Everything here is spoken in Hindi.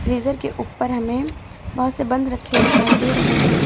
फ्रीजर के ऊपर हमें बहोत से बंद रखे दिखाई दे रहे है।